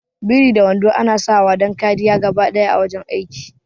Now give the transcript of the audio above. Biri da wando ana sawa dan kariya gabaɗaya a wajan aiki